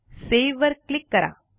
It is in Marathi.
सावे वर क्लिक करा